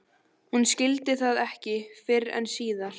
Hún skildi það ekki fyrr en síðar.